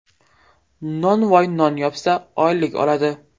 Nonvoy non yopsa, oylik oladi.